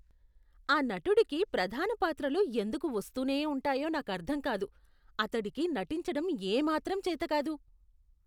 ఆ నటుడికి ప్రధాన పాత్రలు ఎందుకు వస్తూనే ఉంటాయో నాకర్థం కాదు. అతడికి నటించడం ఏమాత్రం చేత కాదు.